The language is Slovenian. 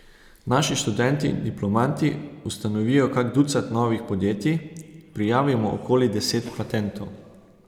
Naši študenti in diplomanti ustanovijo kak ducat novih podjetij, prijavimo okoli deset patentov ...